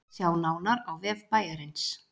Sjá nánar á vef bæjarins